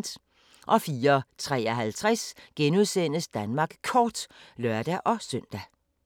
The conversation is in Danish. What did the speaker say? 04:53: Danmark Kort *(lør-søn)